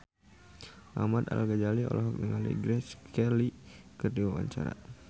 Ahmad Al-Ghazali olohok ningali Grace Kelly keur diwawancara